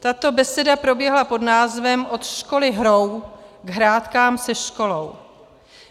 Tato beseda proběhla pod názvem Od školy hrou k hrátkám se školou.